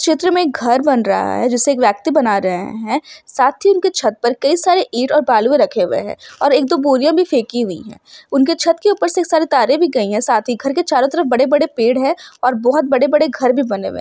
चित्र में घर बन रहा है जिससे एक व्यक्ति बना रहे है| साथ ही उनके छत्त पर कई सारे ईट बालुए रखे हुए है और एक दो बोरीया भी फेखी हुयी है| उनके छत्त के उपर से कई सर तारे भी गयी है| साथ ही घर के चारो तरफ बड़े बड़े पेड़ है और बहुत बड़े बड़े घर भी बने है।